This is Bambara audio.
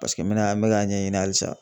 Paseke n mɛnna n mɛ ka ɲɛɲini hali sa.